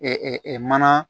mana